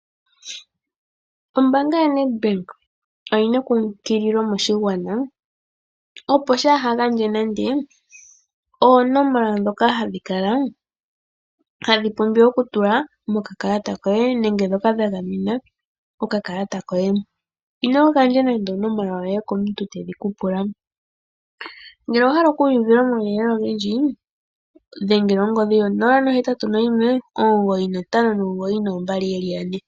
Ombanga yoNedbank oyi na ekumagidho moshigwana, opo shaa ha gandje nande oonomola ndhoka hadhi pumbiwa okutulwa mokakalata koye nenge ndhoka dha gamena okakalata koye. Ino gandja nande onomola yoye komuntu tedhi ku pula. Ngele owa hala okuuva omauyelele ogendji dhengela ongodhi yo081 9592222.